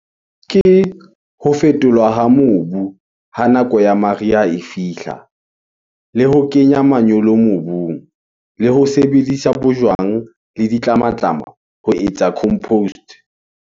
Ke ho fetolwa ha mobu ha nako ya mariha e fihla. Le ho kenya manyolo mobung le ho sebedisa bojwang le ditlamatlama ho etsa compost.